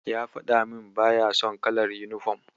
Ya faɗa min baya son kalar yunifom.